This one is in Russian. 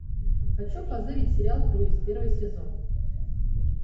хочу позырить сериал круиз первый сезон